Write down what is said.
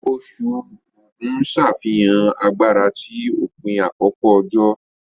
Oṣù Ógù ń ṣàfihàn agbára ti òpin àkókò òjò